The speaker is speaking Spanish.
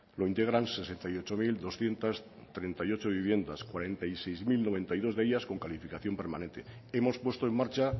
lo integran sesenta y ocho mil doscientos treinta y ocho viviendas cuarenta y seis mil noventa y dos de ellas con calificación permanente hemos puesto en marcha